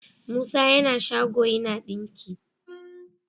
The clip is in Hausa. musa yAna shago yAna dinki